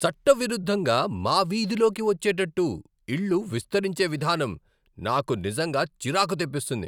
చట్టవిరుద్ధంగా మా వీధిలోకి వచ్చేటట్టు ఇళ్ళు విస్తరించే విధానం నాకు నిజంగా చిరాకు తెప్పిస్తుంది.